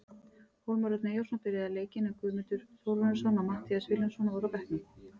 Hólmar Örn Eyjólfsson byrjaði leikinn, en Guðmundur Þórarinsson og Matthías Vilhjálmsson voru á bekknum.